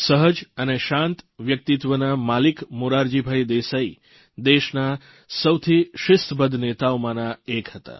સહજ અને શાંત વ્યક્તિત્વના માલિક મોરારજીભાઇ દેસાઇ દેશના સૌથી શિસ્તબદ્ધ નેતાઓમાંના એક હતા